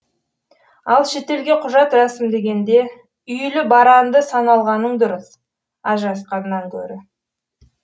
ал шетелге құжат рәсімдегенде үйлі баранды саналғаның дұрыс ажырасқаннан көрі